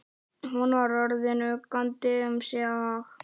Hún var orðin uggandi um sinn hag.